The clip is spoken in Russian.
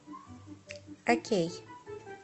окей